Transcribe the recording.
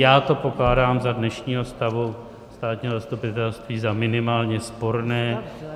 Já to pokládám za dnešního stavu státního zastupitelství za minimálně sporné.